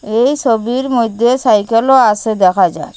এই ছবির মইদ্যে সাইকেলও আসে দেখা যার ।